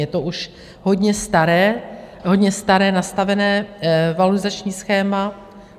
Je to už hodně staré, hodně staré nastavené valorizační schéma.